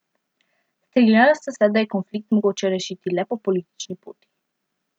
Strinjala sta se, da je konflikt mogoče rešiti le po politični poti.